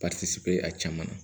bɛ a caman na